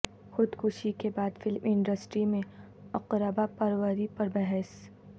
خود کشی کے بعد فلم انڈسٹری میں اقربا پروری پر بحث